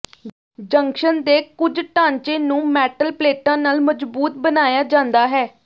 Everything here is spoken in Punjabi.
ਜੰਕਸ਼ਨ ਦੇ ਕੁਝ ਢਾਂਚੇ ਨੂੰ ਮੈਟਲ ਪਲੇਟਾਂ ਨਾਲ ਮਜਬੂਤ ਬਣਾਇਆ ਜਾਂਦਾ ਹੈ